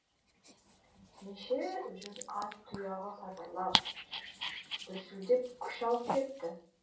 неше жүз ат тұяғы сатырлап дүрсілдеп күш алып кетті